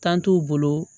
Tan t'u bolo